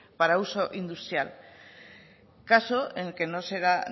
para uso industrial caso en el que no será